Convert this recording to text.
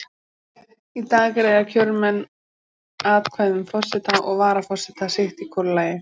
Í dag greiða kjörmenn atkvæði um forseta og varaforseta sitt í hvoru lagi.